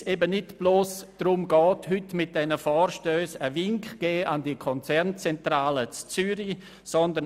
Weil es eben heute nicht darum geht, mit diesen Vorstössen bloss einen Wink an die Konzernzentrale in Zürich zu geben.